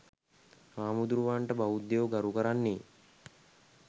හාමුදුරුවරුන්ට බෞද්ධයෝ ගරු කරන්නේ